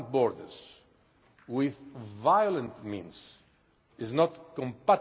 means is not compatible with European values and principles.